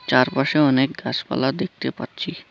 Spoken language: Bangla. চারপাশে অনেক গাসপালা দেখতে পাচ্ছি।